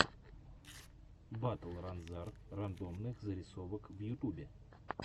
батл ранзар рандомных зарисовок в ютубе